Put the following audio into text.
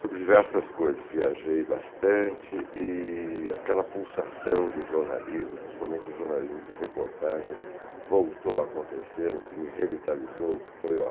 sobre diversas coisas, viajei bastante e aquela pulsação do jornalismo, principalmente o jornalismo de reportagem, voltou a acontecer, o que me revitalizou, o que foi ótimo.